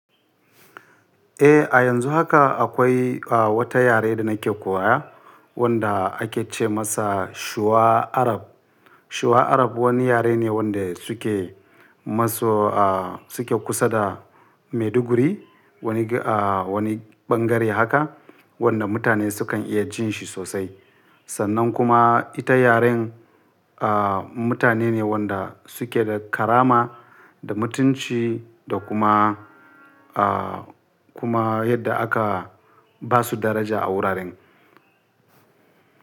Eh, a yanzu haka akwai wata yare da nake koya wanda ake ce masa Shuwa Arab. Shuwa Arab wani yare ne wanda suke masu suke kusa da Maiduguri, wani wani bangare haka wanda mutane sukan iya jin shi sosai. Sannan kuma ita yaren mutane ne wanda suke da karama da mutunci da kuma kuma yadda aka ba su daraja a wuraren.